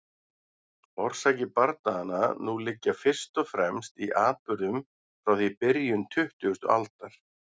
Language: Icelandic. Orsakir bardaganna nú liggja fyrst og fremst í atburðum frá því í byrjun tuttugustu aldar.